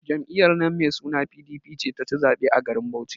Jam'iyyar nan mai suna PDP ce ta ci zaɓe a garin Bauchi.